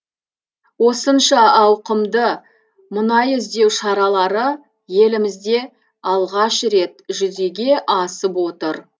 осынша ауқымды мұнай іздеу шаралары елімізде алғаш рет жүзеге асып отыр